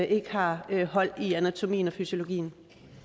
ikke har hold i anatomien og fysiologien